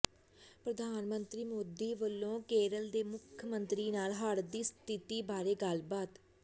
ਪ੍ਰਧਾਨ ਮੰਤਰੀ ਮੋਦੀ ਵਲੋਂ ਕੇਰਲ ਦੇ ਮੁੱਖ ਮੰਤਰੀ ਨਾਲ ਹੜ੍ਹ ਦੀ ਸਥਿਤੀ ਬਾਰੇ ਗੱਲਬਾਤ